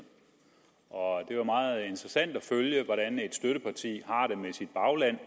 og det var meget interessant at følge hvordan et støtteparti har det med sit bagland